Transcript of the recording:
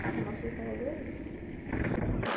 O que mais tem em Salvador é isso.